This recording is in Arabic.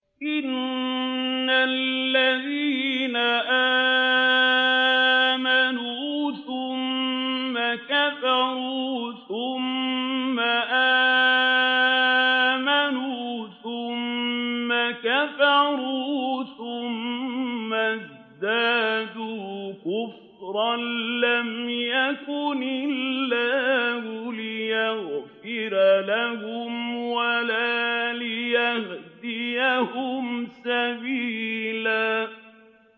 إِنَّ الَّذِينَ آمَنُوا ثُمَّ كَفَرُوا ثُمَّ آمَنُوا ثُمَّ كَفَرُوا ثُمَّ ازْدَادُوا كُفْرًا لَّمْ يَكُنِ اللَّهُ لِيَغْفِرَ لَهُمْ وَلَا لِيَهْدِيَهُمْ سَبِيلًا